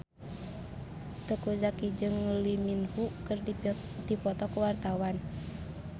Teuku Zacky jeung Lee Min Ho keur dipoto ku wartawan